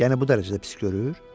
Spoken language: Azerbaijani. Yəni bu dərəcədə pis görür?